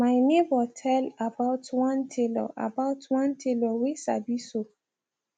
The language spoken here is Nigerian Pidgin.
my neighbor tell about one tailor about one tailor whey sabi sew